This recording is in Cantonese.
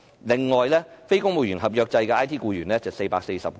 此外，非公務員合約制的 IT 僱員是440個。